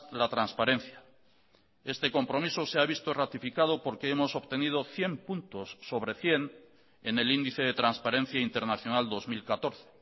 la transparencia este compromiso se ha visto ratificado porque hemos obtenido cien puntos sobre cien en el índice de transparencia internacional dos mil catorce